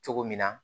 Cogo min na